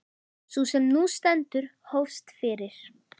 Sú sem nú stendur hófst fyrir